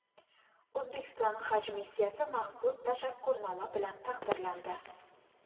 O‘zbekiston haj missiyasi maxsus tashakkurnoma bilan taqdirlandi.